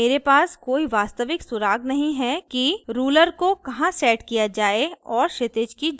अतः मेरे पास कोई वास्तविक सुराग नहीं है कि ruler को कहाँ set किया जाए और क्षितिज की जांच करें